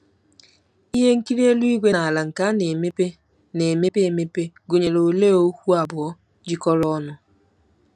Ihe nkiri eluigwe na ala nke na-emepe na-emepe emepe gụnyere olee okwu abụọ jikọrọ ọnụ?